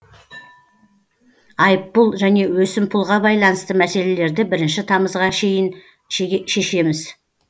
айыппұл және өсімпұлға байланысты мәселелерді бірінші тамызға шейін шешеміз